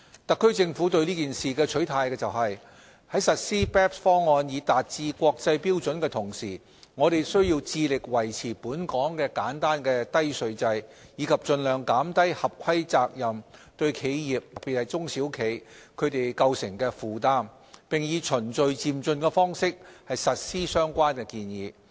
特區政府對此事的取態是，在實施 BEPS 方案以達致國際標準的同時，我們需要致力維持本港的簡單低稅制，以及盡量減低合規責任對企業構成的負擔，並以循序漸進的方式實施相關建議。